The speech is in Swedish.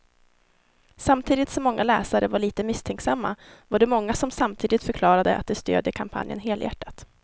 Samtidigt som många läsare var lite misstänksamma var det många som samtidigt förklarade att de stödjer kampanjen helhjärtat.